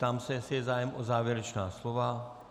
Ptám se, jestli je zájem o závěrečná slova.